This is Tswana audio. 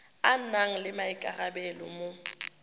a nang le maikarabelo mo